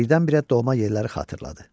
Birdən-birə doğma yerləri xatırladı.